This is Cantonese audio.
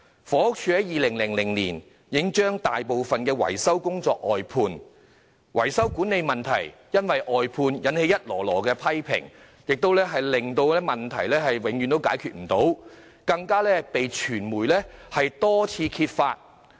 房署在2000年已把大部分維修工作外判，維修管理問題因外判惹來不少批評，而問題一直無法解決，更被傳媒多次揭發。